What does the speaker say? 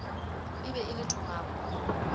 e be e le thogako